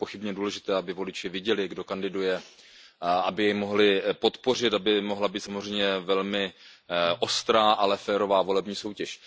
Je nepochybně důležité, aby voliči viděli, kdo kandiduje, aby mohli podpořit, aby mohla být samozřejmě velmi ostrá, ale férová volební soutěž.